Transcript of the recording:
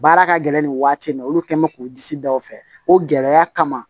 Baara ka gɛlɛn nin waati in na olu kɛ mɛ k'u disi da o fɛ o gɛlɛya kama